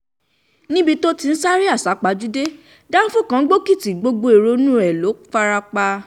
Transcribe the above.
níbi tó ti ń sáré àsápajúdé dánfọ́ kan gbókìtì gbogbo èrò inú ẹ̀ ló fara pa